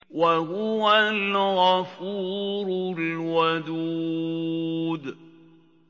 وَهُوَ الْغَفُورُ الْوَدُودُ